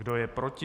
Kdo je proti?